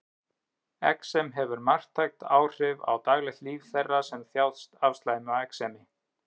exem hefur marktæk áhrif á daglegt líf þeirra sem þjást af slæmu exemi